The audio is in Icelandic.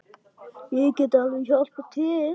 Ég get alveg hjálpað til.